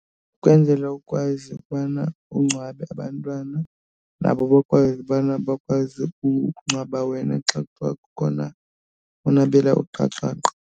Kwenzela ukwazi ukubana ungcwabe abantwana nabo bakwazi ubana bakwazi ukungcwaba wena xa kuthiwa khona unabela uqaqaqa.